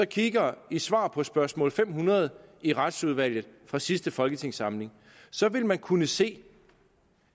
kigger i svaret på spørgsmål nummer fem hundrede i retsudvalget fra sidste folketingssamling vil man kunne se